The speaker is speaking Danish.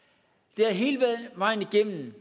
det har hele vejen igennem